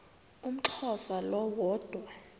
umxhosa lo woda